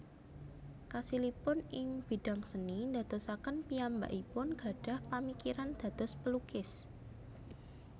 Kasilipun ing bidang seni ndadosaken piyambakipun gadhah pamikiran dados pelukis